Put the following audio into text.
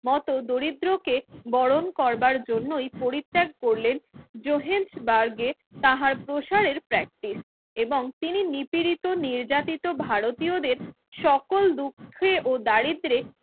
মত দরিদ্র কে বরণ করবার জন্যই পরিত্যাগ করলেন তাঁহার প্রসারের প্র্যাক্টিস এবং তিনি নিপীড়িত নির্যাতিত ভারতীয়দের সকল দুঃখে ও দারিদ্রে